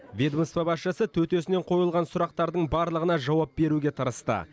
ведомства басшысы төтесінен қойылған сұрақтардың барлығына жауап беруге тырысты